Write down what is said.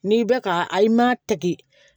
N'i bɛ ka a i man ta k'i